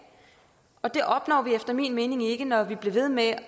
og det opnår vi efter min mening ikke når vi bliver ved med